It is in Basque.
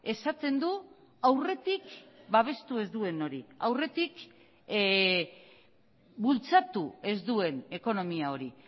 esaten du aurretik babestu ez duen hori aurretik bultzatu ez duen ekonomia hori